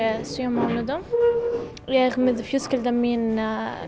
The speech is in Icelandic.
sjö mánuðum og fjölskyldan mín